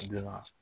Donna